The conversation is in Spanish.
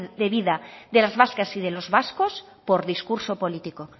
de vida de las vascas y de los vascos por discurso político